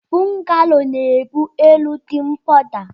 Bọgalo na ebu elu di nkpọda.